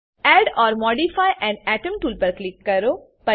add or modify an atom tool પર click કરો